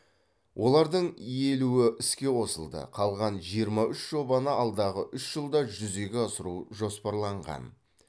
олардың елуі іске қосылды қалған жиырма үш жобаны алдағы үш жылда жүзеге асыру жоспарланған